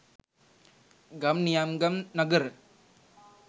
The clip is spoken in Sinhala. ගම් නියම්ගම් නගර